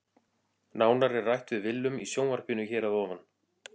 Nánar er rætt við Willum í sjónvarpinu hér að ofan.